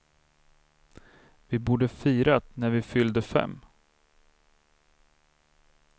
Vi borde firat när vi fyllde fem.